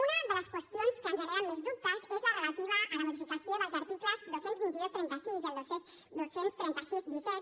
una de les qüestions que ens generen més dubtes és la relativa a la modificació dels articles dos cents i vint dos trenta sis i el dos cents i trenta sis disset